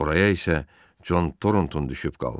Oraya isə Con Tornton düşüb qalmışdı.